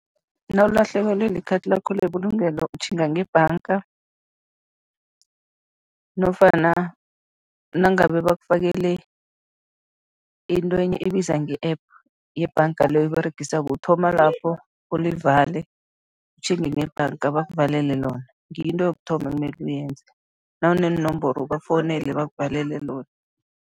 Nawulahlekelwe li-card lakho lebulungelo, utjhinga ngebhanga nofana nangabe bakufakele intwenye ebiza nge-App yebhanga le oyiberegisako, uthoma lapho ulivale, utjhinge ngebhanga bakuvalele lona, ngiyo into yokuthoma emele uyenze, nawuneenomboro ubafowunele bakuvalele lona.